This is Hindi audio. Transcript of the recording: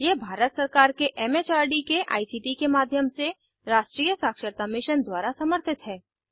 यह भारत सरकार के एम एच आर डी के आई सी टी के माध्यम से राष्ट्र्रीय साक्षरता मिशन द्वारा समर्थित है